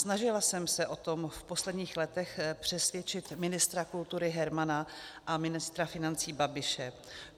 Snažila jsem se o tom v posledních letech přesvědčit ministra kultury Hermana a ministra financí Babiše.